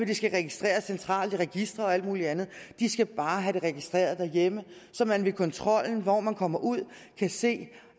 det skal registreres centralt i registre og alt muligt andet de skal bare have det registreret derhjemme så man ved kontrollen når man kommer ud kan se